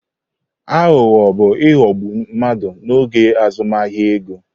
Aghụghọ bu ighọgbu mmadụ n'oge azụmahịa ego.